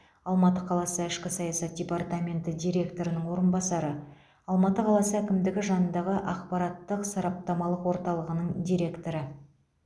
алматы қаласы ішкі саясат департаменті директорының орынбасары алматы қаласы әкімдігі жанындағы ақпараттық сараптамалық орталығының директоры